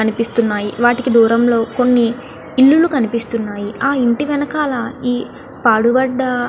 కొని ఇల్లులు కనిపిస్తునాయి. కొని పడుదవి కనిపిస్తునాయి.